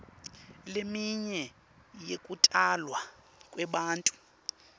leminye yekutalwa kwebantfu